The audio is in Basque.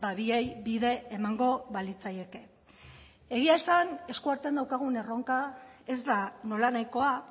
biei bide emango balitzaieke egia esan eskuartean daukagun erronka ez da nolanahikoa